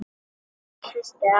Þetta er fyrsti apríl.